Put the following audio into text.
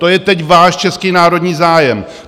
To je teď váš český národní zájem!